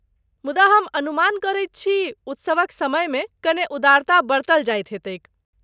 मुदा हम अनुमान करैत छी उत्सवक समयमे कने उदारता बरतल जाइत हेतैक।